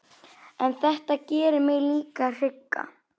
En þetta gerir mig líka hrygga.